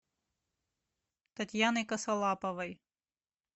татьяной косолаповой